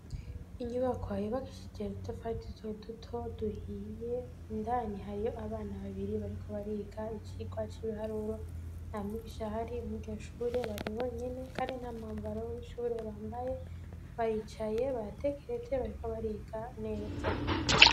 Inyubakwa yubakishije udutafari duto duto, duhiye, indani hariyo abana babiri, bariko bariga icigwa c'ibiharuro; nta mwigisha ahari muri iryo shure, bari bonyene, kandi nta mwambaro w'ishure bambaye, baricaye baratekereje, bariko bariga neza.